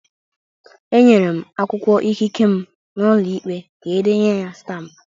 Enyere m akwụkwọ ikike m n'ụlọ ikpe ka e denye ya stampụ